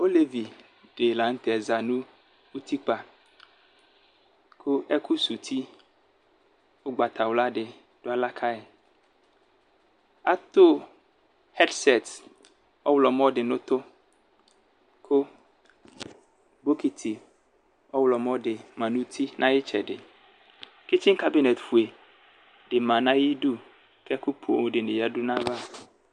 Okevi di lanʋtɛ zanʋ utikpa kʋ ɛkʋsɛ uti ʋgbatawla di dʋ aɣla kayi atʋ ɛksɛs ɔwlɔmɔ di nʋ ʋtʋ kʋ bokiti ɔwlɔmɔ di manʋ uti nayi itsɛdi ketsika dʋ nefe dima nʋ ayidʋ kʋ ɛkʋ poo dini manʋ ayava